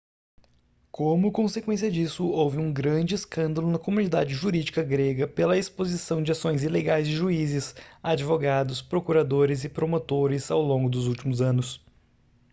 como consequência disso houve um grande escândalo na comunidade jurídica grega pela exposição de ações ilegais de juízes advogados procuradores e promotores ao longo dos últimos anos